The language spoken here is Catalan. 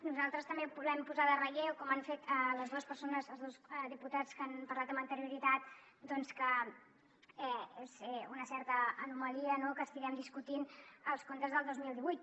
nosaltres també volem posar en relleu com han fet les dues persones els dos diputats que han parlat amb anterioritat doncs que és una certa anomalia no que estiguem discutint els comptes del dos mil divuit